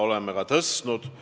Oleme seda ka tõstnud.